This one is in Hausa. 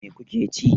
Mai kuke ci?